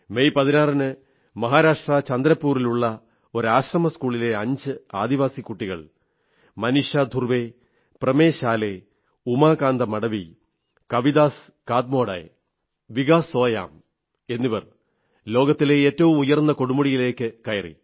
May 16 ന് മഹാരാഷ്ട്ര ചന്ദ്രപൂരിലുള്ള ഒരു ആശ്രമസ്കൂളിലെ 5 ആദിവാസി കുട്ടികൾ മനീഷാ ധ്രുവേ പ്രമേശ് ആലേ ഉമാകാന്ത മഡവി കവിദാസ് കാത്മോഡേ വികാസ് സോയാം എന്നിവർ ലോകത്തിലെ ഏറ്റവും ഉയർന്ന കൊടുമുടിയിലേക്ക് കയറി